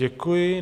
Děkuji.